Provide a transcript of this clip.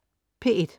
P1: